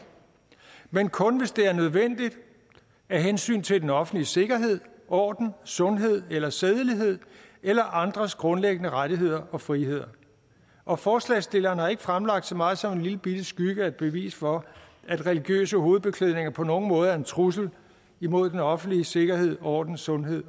men kun hvis det er nødvendigt af hensyn til den offentlige sikkerhed orden sundhed eller sædelighed eller andres grundlæggende rettigheder og friheder og forslagsstillerne har ikke fremlagt så meget som en lillebitte skygge af bevis for at religiøse hovedbeklædninger på nogen måde er en trussel imod den offentlige sikkerhed orden sundhed